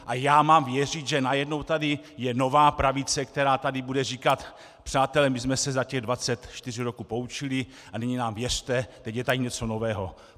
A já mám věřit, že najednou tady je nová pravice, která tady bude říkat "přátelé, my jsme se za těch 24 roků poučili a nyní nám věřte, teď je tady něco nového".